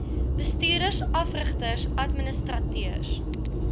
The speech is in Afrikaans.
bestuurders afrigters administrateurs